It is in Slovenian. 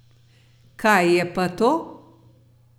Kaj je pa to?